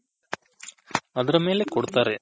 Other ಮೇಲೆ ಕೊಡ್ತಾರೆ.